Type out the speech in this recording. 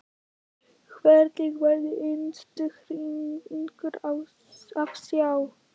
Hvergi var minnstu hreyfingu að sjá.